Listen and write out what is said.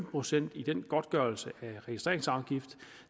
procent i den godtgørelse af registreringsafgift